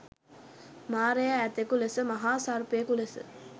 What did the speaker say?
මාරයා ඇතකු ලෙස මහා සර්පයකු ලෙස